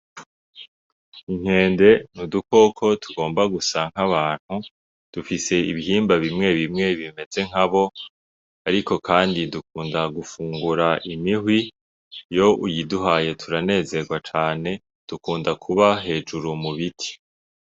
Inkende n'udukoko tugomba gusa nk'abantu, dufise ibihimba bimwe bimwe bimeze nkabo, ariko kandi dukunda gufungura imihwi, iyo iyiduhaye turanezerwa cane, dukunda kuba hejuru mubiti.